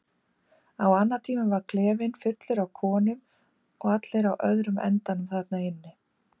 Á annatímum var klefinn fullur af konum og allt á öðrum endanum þarna inni.